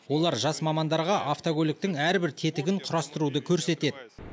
олар жас мамандарға автокөліктің әрбір тетігін құрастыруды көрсетеді